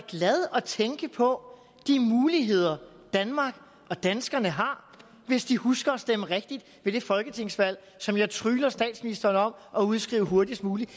glad at tænke på de muligheder danmark og danskerne har hvis de husker at stemme rigtigt ved det folketingsvalg som jeg trygler statsministeren om at udskrive hurtigst muligt